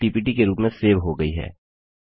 file PPT के रूप में सेव हो गई है